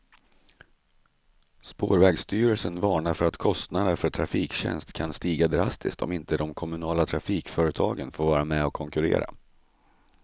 Spårvägsstyrelsen varnar för att kostnaderna för trafiktjänster kan stiga drastiskt om inte de kommunala trafikföretagen får vara med och konkurrera.